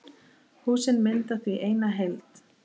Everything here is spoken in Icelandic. Húsin mynda því eina heild.